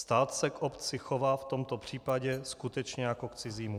Stát se k obci chová v tomto případě skutečně jako k cizímu.